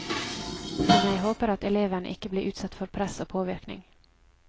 Men jeg håper at elevene ikke blir utsatt for press og påvirkning.